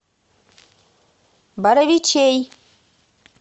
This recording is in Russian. боровичей